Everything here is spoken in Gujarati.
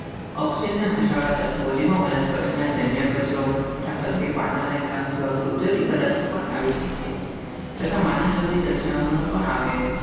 અક્ષયના કાચ ફોડીમાં વનસ્પતિ જન્ય કચરો પાને ઘાસિયા કુદરતી પદાર્થો પણ તથા માનવ સર્જિત દર્શાવે.